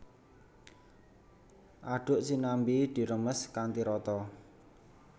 Aduk sinambi diremes kanthi rata